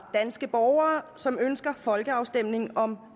danske borgere som ønsker en folkeafstemning om